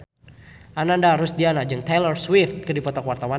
Ananda Rusdiana jeung Taylor Swift keur dipoto ku wartawan